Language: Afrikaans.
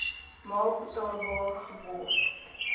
maal betaalbaar geword